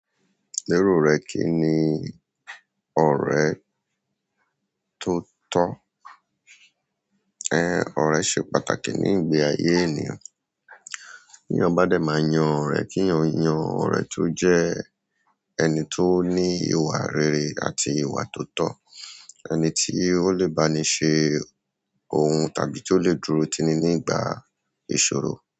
Lérò rẹ kínni ọ̀rẹ́ tó tọ́. Ẹn, ọ̀rẹ́ ṣe pàtàkì ní ìgbé ayé ènìyàn. Bí yàn bá dẹ̀ ma yan ọ̀rẹ́, kíyàn yan ọ̀rẹ́ tó jẹ́ ẹni tó ní ìwà rere àti ìwà tó tọ̀. Ẹni tí ó lè bá ni ṣe òhun tàbí tí ó lè dúró tini ní ìgbà ìṣòro.